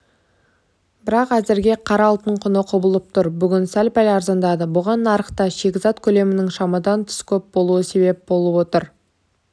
бірақ әзірге қара алтын құны құбылып тұр бүгін сәл-пәл арзандады бұған нарықта шикізат көлемінің шамадан тыс көп болуы себеп болып отыр